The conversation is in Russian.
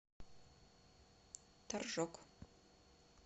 торжок